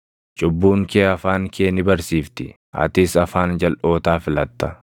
Cubbuun kee afaan kee ni barsiifti; atis afaan jalʼootaa filatta.